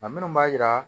A minnu b'a jira